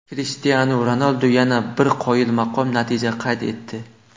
Krishtianu Ronaldu yana bir qoyilmaqom natija qayd etdi.